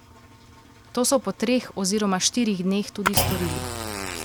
To so po treh oziroma štirih dneh tudi storili.